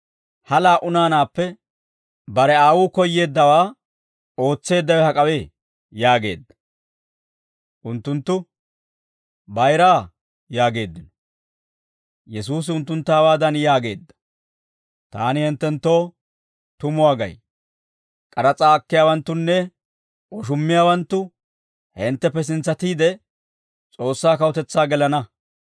Ha laa"u naanaappe bare aawuu koyyeeddawaa ootseeddawe hak'awee?» yaageedda. Unttunttu, «Bayiraa» yaageeddino. Yesuusi unttuntta hawaadan yaageedda; «Taani hinttenttoo tumuwaa gay; k'aras'aa akkiyaawanttunne woshummiyaawanttu hintteppe sintsatiide, S'oossaa kawutetsaa gelana.